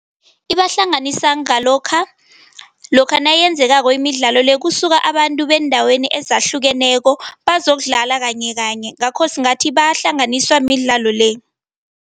Ibahlanganisa ngalokha, lokha nayenzekako imidlalo le kusuka abantu beendaweni ezahlukeneko bazokudlala kanyekanye ngakho singathi bangahlanganiswa midlalo le.